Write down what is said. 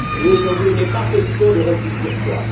Aujourd'hui, il n'est pas question de repli sur soi.